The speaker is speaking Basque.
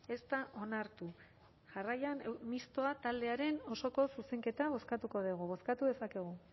ez da onartu jarraian mistoa taldearen osoko zuzenketa bozkatuko dugu bozkatu dezakegu